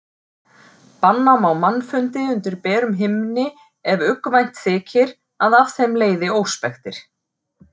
Banna má mannfundi undir berum himni ef uggvænt þykir að af þeim leiði óspektir.